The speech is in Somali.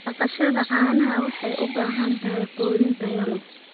Dhaqashada caanaha waxay u baahan tahay quudin tayo leh.